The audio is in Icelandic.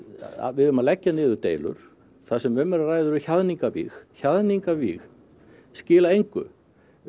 við eigum að leggja niður deilur það sem um er að ræða eru hjaðningavíg hjaðningavíg skila engu